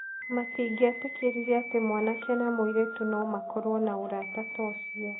Matingĩetĩkĩrire atĩ mwanake na mũirĩtu no makorũo na ũrata ta ũcio.